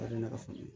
A ne ka faamuya